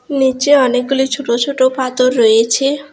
নীচে অনেকগুলি ছোট ছোট পাথর রয়েছে।